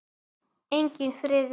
Enginn friður.